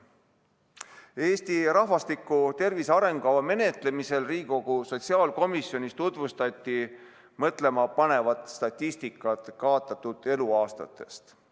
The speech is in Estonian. Eesti rahvastiku tervise arengukava menetlemisel Riigikogu sotsiaalkomisjonis tutvustati mõtlemapanevat statistikat kaotatud eluaastate kohta.